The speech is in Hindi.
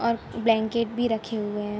और ब्लैंकेट भी रखे हुए हैं।